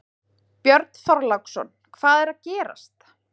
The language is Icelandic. Björn Þorláksson: Hvað er að gerast?